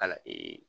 Kala